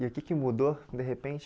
E o que que mudou, de repente?